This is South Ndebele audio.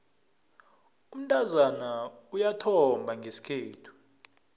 umntazana uyathomba ngesikhethu